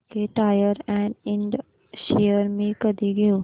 JK tyre and ind shares मी कधी घेऊ